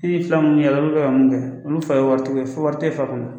I ye fila minnu y'a la olu bɛ ka mun kɛ olu fa ye waritigi ye, wari tɛ e fa kun.